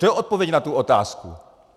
To je odpověď na tu otázku.